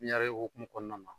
Pipiɲarɛ hukumu kɔnɔnan na.